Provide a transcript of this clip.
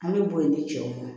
An bɛ bɔ yen de cɛw